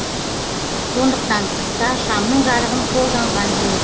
сондықтан қыста шамның жарығын қолданған жөн